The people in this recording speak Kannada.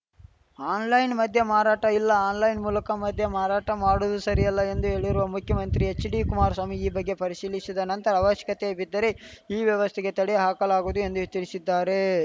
ಆನ್‌ಲೈನ್‌ ಮದ್ಯ ಮಾರಾಟ ಇಲ್ಲ ಆನ್‌ಲೈನ್‌ ಮೂಲಕ ಮದ್ಯ ಮಾರಾಟ ಮಾಡುವುದು ಸರಿಯಲ್ಲ ಎಂದು ಹೇಳಿರುವ ಮುಖ್ಯಮಂತ್ರಿ ಎಚ್‌ಡಿಕುಮಾರಸ್ವಾಮಿ ಈ ಬಗ್ಗೆ ಪರಿಶೀಲಿಶಿದ ನಂತರ ಅವಶ್ಯಕತೆ ಬಿದ್ದರೆ ಈ ವ್ಯವಸ್ಥೆಗೆ ತಡೆ ಹಾಕಲಾಗುವುದು ಎಂದು ಎಚ್ಚರಿಶಿದ್ದಾರೆ